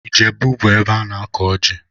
Ijebu bụ ebe ana-akụ ọjị